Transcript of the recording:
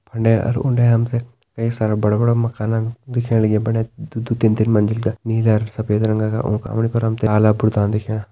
फुंडे अर उंडे हम तें कई सारा बड़ा बड़ा माकन दिखेण लग्यां दुई दुई तीन तीन मंजिल का नीला अर सफेद रंगा का उंका सामणी पर हम तें काला बुर्ता दिखेणा।